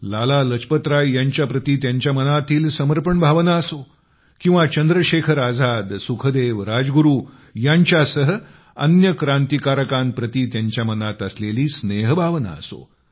लाला लजपत राय यांच्या प्रती त्यांच्या मनातील समर्पण भावना असो किंवा चंद्रशेखर आझाद सुखदेवराजगुरू यांच्यासह क्रांतिकारकांप्रति त्यांच्या मनात असलेली स्नेहभावना असो